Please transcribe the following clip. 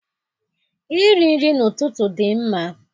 Iri nri n'ụtụtụ dị mma.